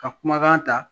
Ka kumakan ta